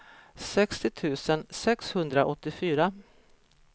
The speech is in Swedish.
sextio tusen sexhundraåttiofyra